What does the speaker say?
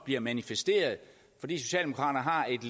bliver manifesteret fordi socialdemokraterne har et